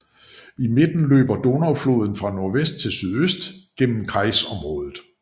I midten løber Donaufloden fra nordvest til sydøst gennem kreisområdet